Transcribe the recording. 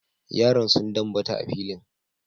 Yaran sun dambata a filin.